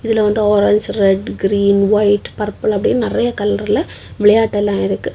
இதுல வந்து orange red green white purple அப்படின்னு நறைய கலர்ல விளையாட்டெல்லாம் இருக்கு.